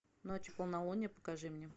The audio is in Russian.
ночью полнолуние покажи мне